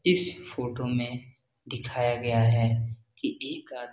इस फोटो में दिखाया गया है की एक आदमी --